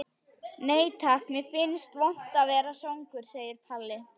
Nei takk, mér finnst vont að vera svangur, segir Palli.